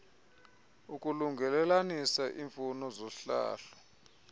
ukulungelelanisa imfuno zohlahlo